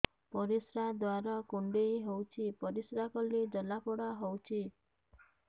ପରିଶ୍ରା ଦ୍ୱାର କୁଣ୍ଡେଇ ହେଉଚି ପରିଶ୍ରା କଲେ ଜଳାପୋଡା ହେଉଛି